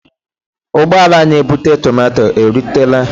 Ụgbọala na ebute tomato e rutela?